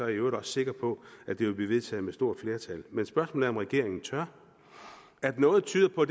i øvrigt også sikker på at det vil blive vedtaget med stort flertal men spørgsmålet er om regeringen tør at noget tyder på